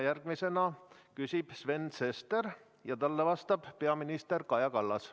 Järgmisena küsib Sven Sester ja talle vastab peaminister Kaja Kallas.